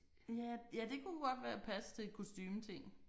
Ja ja det kunne godt være passe til kostumetingen